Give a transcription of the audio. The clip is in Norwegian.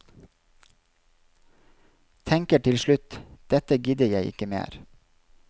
Tenker til slutt, dette gidder jeg ikke mer.